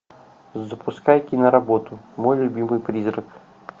запускай киноработу мой любимый призрак